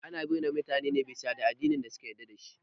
Ana yi ma mutane bisina ne bisa ga tanadin addinin da suka yarda dashi